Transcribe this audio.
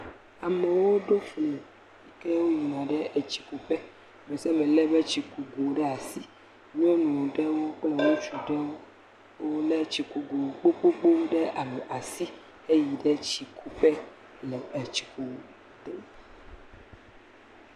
Amewo ɖo fli heyina ɖe etsikuƒe, ame sia ame lé eƒe tsikugo ɖe asi. Nyɔnu ɖewo kple ŋutsu ɖewo lé tsikugo gbogbowo ɖe asi heyina tsiku ge.